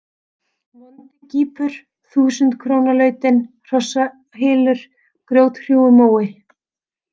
Vondigýpur, Þúsundkrónalautin, Hrossahylur, Grjóthrúgumói